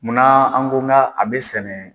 Munna an ko n ka a bɛ sɛnɛ.